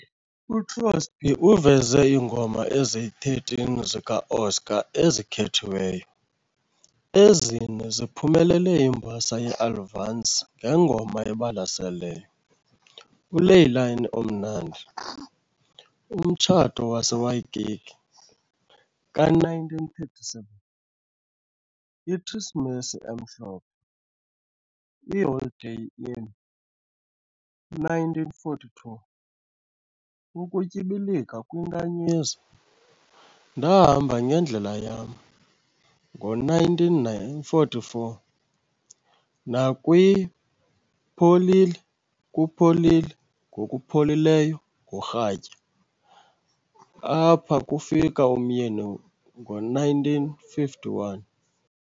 UCrosby uveze iingoma ezi-13 zika-Oscar ezikhethiweyo, ezine ziphumelele imbasa yeAlvance ngeNgoma eBalaseleyo- "uLeilani Omnandi", "Umtshato waseWaikiki", ka-1937, "IKrisimesi emhlophe", "IHoliday Inn", 1942, "Ukutyibilika kwiNkanyezi ", "Ndahamba ngendlela yam", ngo-1944, nakwi-" Pholile, kupholile, ngokuPholileyo ngorhatya ", "Apha ufika uMyeni", ngo-1951.